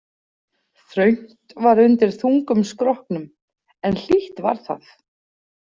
Þröngt var undir þungum skrokknum, en hlýtt var það.